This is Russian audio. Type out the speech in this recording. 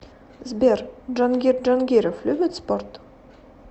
сбер джангир джангиров любит спорт